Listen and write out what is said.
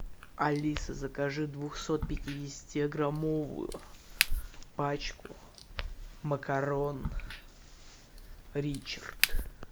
алиса закажи двухсот пятидесяти граммовую пачку макарон ричард